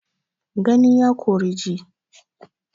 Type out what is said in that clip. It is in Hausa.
Gani ya Kori ji